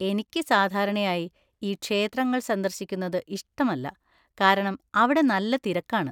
എനിക്ക് സാധാരണയായി ഈ ക്ഷേത്രങ്ങൾ സന്ദർശിക്കുന്നത് ഇഷ്ടമല്ല, കാരണം അവിടെ നല്ല തിരക്കാണ്.